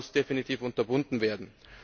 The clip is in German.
Das muss definitiv unterbunden werden.